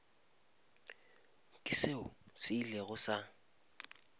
ke seo se ilego sa